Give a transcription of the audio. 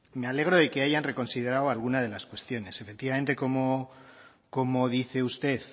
me alegro de que hayan reconsiderado alguna de las cuestiones efectivamente como dice usted